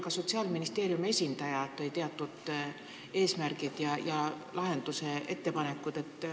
Ka Sotsiaalministeeriumi esindaja tõi välja teatud eesmärgid ja lahendusettepanekud.